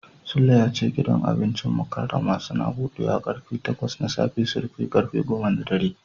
Sule ya ce gidan wajen abincin Mukarramah Suns budewa karfe takwas na safe su rufe karfe goma na dare.